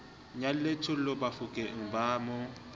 nyalle thollo bafokeng ba mo